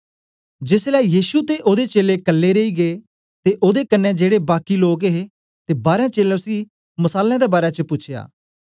जेसलै यीशु ते ओदे चेलें कल्ले रेई गै ते ओदे कन्ने जेड़े बाकी लोक हे ते बारां चेलें उसी मसालें दे बारै च पूछया